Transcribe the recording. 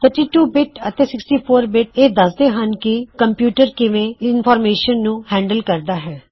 ਟਰਸ 32 bit ਅਤੇ 64 bit ਇਹ ਦਸਦੇ ਹਨ ਕੇ ਕੰਪਿਊਟਰ ਕਿਵੇ ਇਨਵਰਮੇਸ਼ਨ ਨੂੰ ਹੈਂਡਲ ਕਰਦਾ ਹੈ